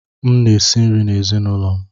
M na-esi nri n'ezinaụlọ m.